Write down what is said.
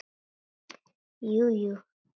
Jú jú.